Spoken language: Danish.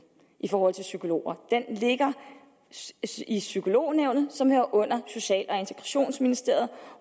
i forhold til psykologer den ligger i psykolognævnet som hører under social og integrationsministeriet